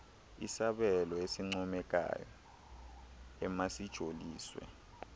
isabelo esincomekayo emasijoliswe